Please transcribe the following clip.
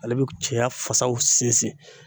Ale be k cɛya fasaw sinsin